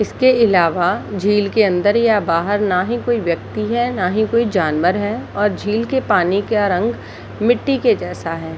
इसके आलावा झील के अंदर या बाहर न ही कोई व्यक्ति है न ही कोई जानवर है और झील के पानी का रंग मिट्टी के जैसा है ।